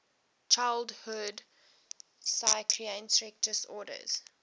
childhood psychiatric disorders